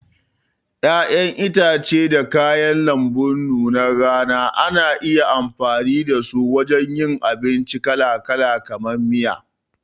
Ƴaƴan itace da kayan lambu nunar rana ana iya amfani dasu wajen yin abinci kalakala, kamar miya.